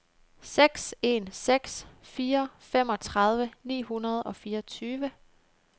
seks en seks fire femogtredive ni hundrede og fireogtyve